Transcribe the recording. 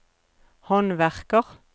håndverker